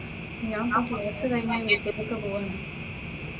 ഞാൻ ഇപ്പോൾ കോഴ്സ് കഴിഞ്ഞു വീട്ടിലേക്ക് പോകുന്നു.